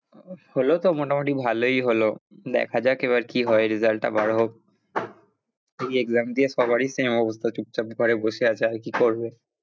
হলো তো মোটামুটি ভালোই হলো, দেখা যাক এবার কি হয় result টা বার হোক ওই exam দিয়ে সবারই same অবস্থা চুপচাপ ঘরে বসে আছে আর কি করবে?